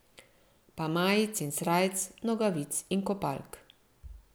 Pa majic in srajc, nogavic in kopalk.